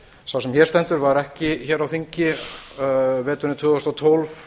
sá sem hér stendur var ekki hér á þingi veturinn tvö þúsund og tólf